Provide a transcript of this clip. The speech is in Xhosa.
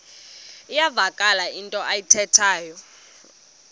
iyavakala into ayithethayo